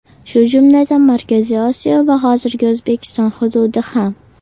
Shu jumladan, Markaziy Osiyo va hozirgi O‘zbekiston hududi ham.